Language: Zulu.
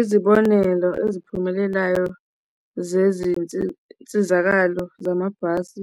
Izibonelo eziphumelelayo zezinsizakalo zamabhasi